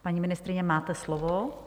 Paní ministryně, máte slovo.